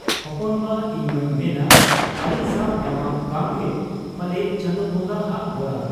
ᱦᱚᱯᱚᱱ ᱵᱟ ᱤᱧᱢᱟᱹᱧ ᱢᱮᱱᱟ ᱟᱹᱞᱤᱧ ᱥᱟᱶ ᱧᱟᱯᱟᱢ ᱠᱟᱢᱜᱮ ᱯᱟᱞᱮ ᱪᱟᱸᱫᱚ ᱵᱚᱝᱜᱟ ᱦᱟᱜ ᱵᱚᱨᱟᱫᱽ ᱾